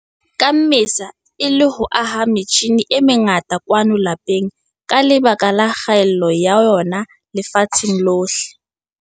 Ka Mmesa, e le ho aha metjhine e mengata kwano lapeng ka lebaka la kgaello ya yona lefatsheng lohle.